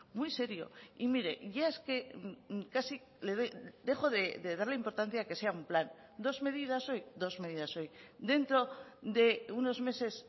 muy serio y mire ya es que casi dejo de darle importancia a que sea un plan dos medidas hoy dos medidas hoy dentro de unos meses